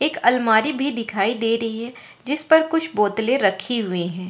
एक अलमारी भी दिखाई दे रही है जिस पर कुछ बोतले रखी हुई है।